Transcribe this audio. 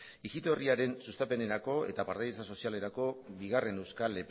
ijito herriaren sustapenerako eta partaidetza sozialerako bigarren euskal